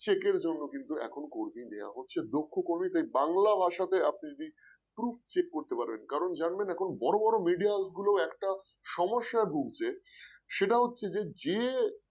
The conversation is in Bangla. check র জন্য কিন্তু এখন কর্মী নেওয়া হচ্ছে দক্ষ কর্মীকে বাংলা ভাষা তে আপনি যদি proof check করতে পারেন কারণ জানবেন এখন বড় বড় media গুলো একটা সমস্যায় ভুগছে সেটা হচ্ছে যে যে